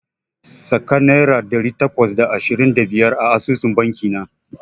Saka naira ɗari takwas da ashirin da biyar a asusun banki na.